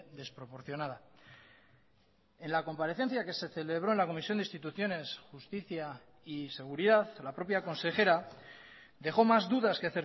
desproporcionada en la comparecencia que se celebró en la comisión de instituciones justicia y seguridad la propia consejera dejó más dudas que